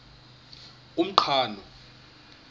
umqhano